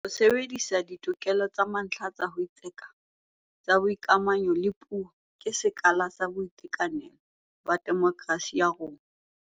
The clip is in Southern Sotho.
Ho sebedisa ditokelo tsa mantlha tsa ho itseka, tsa boikamahanyo le puo ke sekala sa boitekanelo ba demokerasi ya rona.